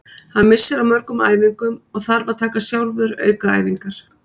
Hann missir af mörgum æfingum og þarf að taka sjálfur aukaæfingar.